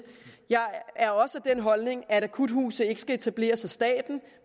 jeg er også af den holdning at akuthuse ikke skal etableres i statstlig